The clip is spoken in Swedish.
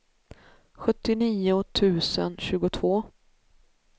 sjuttionio tusen tjugotvå